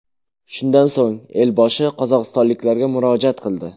Shundan so‘ng elboshi qozog‘istonliklarga murojaat qildi .